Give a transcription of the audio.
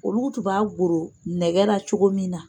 Olu tun b'a goro nɛgɛ la cogo min na